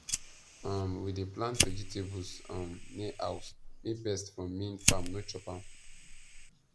um we dey plant vegetables um near house make pests from main farm no chop am